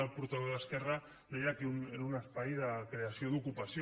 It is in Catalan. el portaveu d’esquerra deia que era un espai de creació d’ocupació